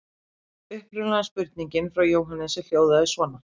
Upprunalega spurningin frá Jóhannesi hljóðaði svona: